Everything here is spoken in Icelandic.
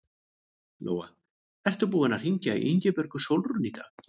Lóa: Ert þú búinn að hringja í Ingibjörgu Sólrúnu í dag?